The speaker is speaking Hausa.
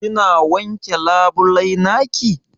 Kina wanke labulai naki?